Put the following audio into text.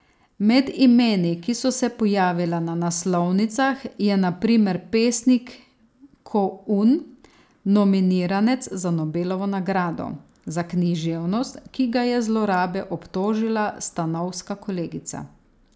Med imeni, ki so se pojavila na naslovnicah, je na primer pesnik Ko Un, nominiranec za Nobelovo nagrado za književnost, ki ga je zlorabe obtožila stanovska kolegica.